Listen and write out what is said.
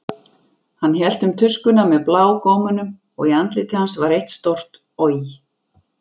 Hann hélt um tuskuna með blágómunum og í andliti hans var eitt stórt OJ!